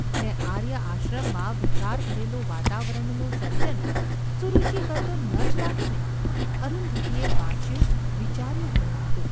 ને આર્ય આશ્રમમાં વિકાર ભરેલું વાતાવરણનું સર્જન સુરુચિકર તો ન જ લાગે ને ? અરુંધતીએ વાંચ્યું – વિચાર્યું ઘણું હતું.